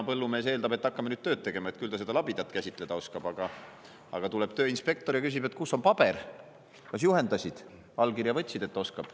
Põllumees on eeldanud, et hakkame nüüd tööd tegema, et küll seda labidat käsitleda oskab, aga tuleb tööinspektor ja küsib, et kus on paber, kas juhendasid, allkirja võtsid, et ikka oskab.